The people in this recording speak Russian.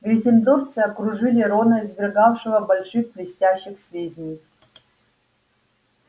гриффиндорцы окружили рона извергавшего больших блестящих слизней